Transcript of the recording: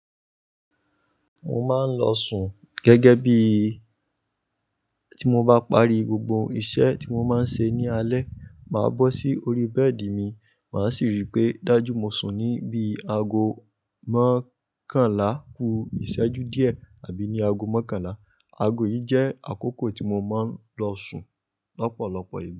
Mo máa ń lọ sùn gẹ́gẹ́ bíi ti mo bá parí gbogbo iṣẹ́ tí mo má ń ṣe ní alẹ́, màá bọ́ sí orí bẹ́ẹ̀dì mi, màá sì rí pé dájú mo sùn ní bí aago mọ́kànlá kú ìṣẹ́jú díẹ̀ àbí ní aago mọ́kànlá. Aago yìí jẹ́ àkókò tí mo máa ń lọ sùn lọ́pọ̀lọpọ̀ ìgbà.